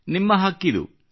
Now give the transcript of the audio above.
ನಿಮ್ಮ ಹಕ್ಕಿದು